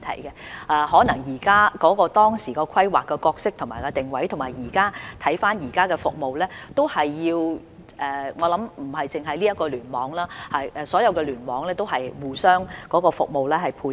如果大家回顧醫院當初規劃的角色和定位，並考慮到現有服務，不單這個聯網，所有聯網內的醫院服務皆要互相配合。